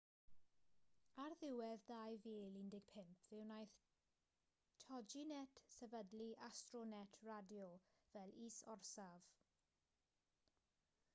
ar ddiwedd 2015 fe wnaeth toginet sefydlu astronet radio fel is-orsaf